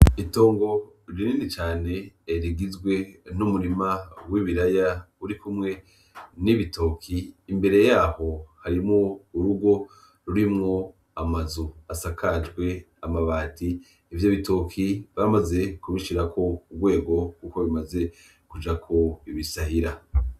Itongo rinini cane rigizwe n'umurima w'ibiraya uri kumwe n'ibitoki imbere yaho harimwo urugo rurimwo amazu asakajwe amabati ivyo bitoki bamaze kubishirako urwego, kuko bimaze kujako ibisahira.